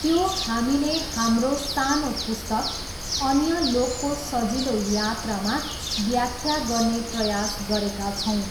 त्यो हामीले हाम्रो सानो पुस्तक 'अन्य लोकको सजिलो यात्रा'मा व्याख्या गर्ने प्रयास गरेका छौँ।